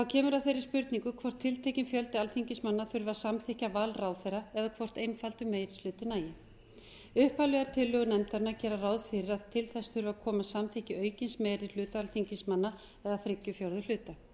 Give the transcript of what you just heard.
kemur að þeirri spurningu hvort tiltekinn fjöldi alþingismanna þurfi að samþykkja val ráðherra eða hvort einfaldur meiri hluti nægi upphaflegar tillögur nefndarinnar gera ráð fyrir að til þess þurfi að koma samþykki aukins meiri hluta alþingismanna eða þriggja fjórðu hluta